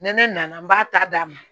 Ni ne nana n b'a ta d'a ma